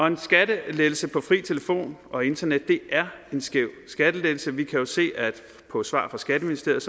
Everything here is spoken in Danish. en skattelettelse på fri telefon og internet er en skæv skattelettelse vi kan jo se på svar fra skatteministeriet